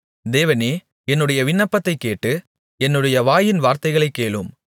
தேவனே என்னுடைய விண்ணப்பத்தைக் கேட்டு என்னுடைய வாயின் வார்த்தைகளைக் கேளும்